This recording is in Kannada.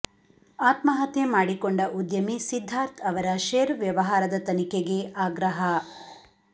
ಆತ್ಮಹತ್ಯೆ ಮಾಡಿಕೊಂಡ ಉದ್ಯಮಿ ಸಿದ್ದಾರ್ಥ್ ಅವರ ಷೇರು ವ್ಯವಹಾರದ ತನಿಖೆಗೆ ಆಗ್ರಹ